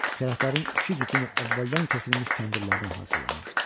Kələflərin iki cütünün əvvəldən kəsilmiş kəndirlərdən hazırlanmışdı.